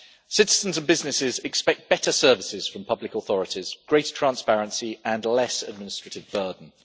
Citizens and businesses expect better services from public authorities, greater transparency and less administrative burden.